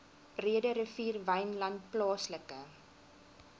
breederivier wynland plaaslike